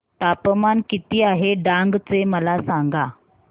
तापमान किती आहे डांग चे मला सांगा